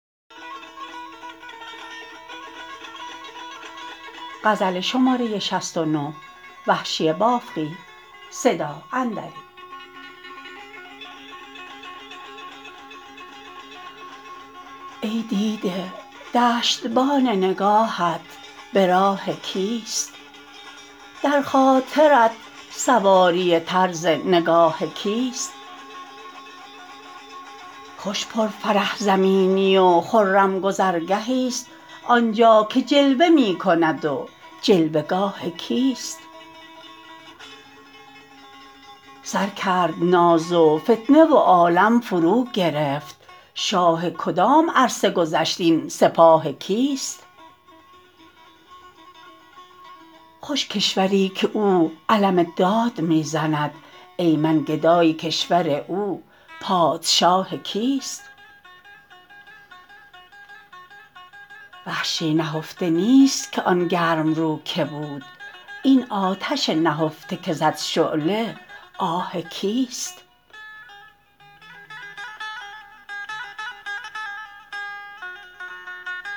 ای دیده دشتبان نگاهت به راه کیست در خاطرت سواری طرز نگاه کیست خوش پر فرح زمینی و خرم گذرگهیست آنجا که جلوه می کند و جلوه گاه کیست سر کرد ناز و فتنه و عالم فرو گرفت شاه کدام عرصه گذشت این سپاه کیست خوش کشوری که او علم داد می زند ای من گدای کشور او پادشاه کیست وحشی نهفته نیست که آن گرم رو که بود این آتش نهفته که زد شعله آه کیست